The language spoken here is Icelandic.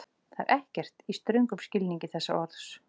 Það er ekkert, í ströngum skilningi þess orðs.